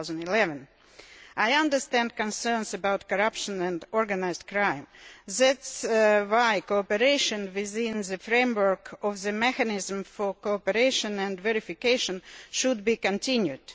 2011. I understand the concerns about corruption and organised crime. That is why cooperation within the framework of the mechanism for cooperation and verification should be continued.